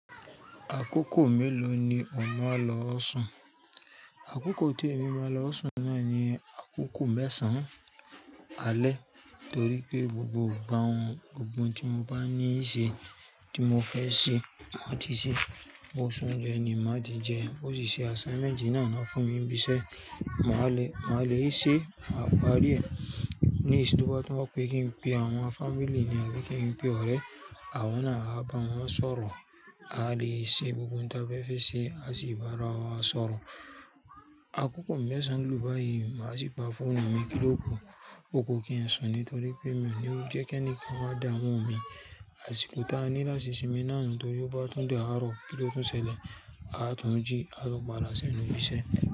Àkókò mélòó ni o máa ń lọ sùn? Àkókò tí èmi máa ń lọ ọsù náà ni àkókò mẹ́sàn-án alẹ́ torí pé gbogbo wọn, gbogbo ohun tí mo bá ní ìṣe tí mo fẹ́ ṣe máa ti ṣe. Bó ṣún lẹ́ni, máa ti jẹ ẹ́. Bó sì ṣe assignment náà ni wọ́n fún mi ní ibiṣẹ́, màá le, màá le è ṣe, à pa á rí. Ní ìsìn tó bá tọ́ pé kí n pe àwọn family ni a pé kí n pe ọ̀rẹ́, àwọn náà á bá wọn sọ̀rọ̀. A lè ṣe gbogbo ohun tí a fẹ́ fẹ́ ṣe, a sì bá ara wa sọ̀rọ̀. Àkókò mẹ́sàn-án ló bá yii, màá sì pa fóònù mi kílòkù. O ku kí n sùn torí pé mi ò níwò jẹ́ kí ẹni kan wá dáwọ́ mi àsìkò táa ní láti sinmi náà nítorí bó bá tún dára kíló tó ṣẹlẹ̀, a tún jí a tún padà sí inú ibi iṣẹ́.